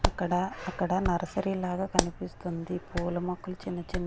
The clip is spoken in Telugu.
అక్కడ అక్కడ నర్సరీ లాగా కనిపిస్తుంది పూల మొక్కలు చిన్న చిన్న.